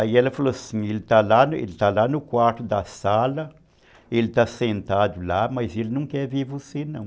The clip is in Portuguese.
Aí ela falou assim, ele está lá ele está lá no quarto da sala, ele está sentado lá, mas ele não quer ver você não.